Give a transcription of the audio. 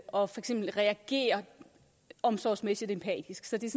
reagere omsorgsmæssigt empatisk så det